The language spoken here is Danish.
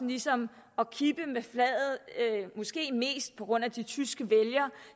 ligesom at kippe med flaget måske mest på grund af de tyske vælgere